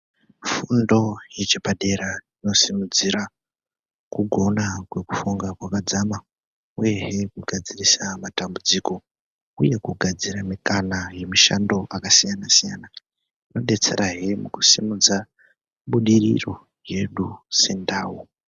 Fundo yepadera ino simudzira kugona kwekufunga kwakadzana uyehe kugadzirisa matambudziko uye kugadzire mukana yemishando yakasiyana siyana inodetsera hee kusimudza budiriro yedu sendau.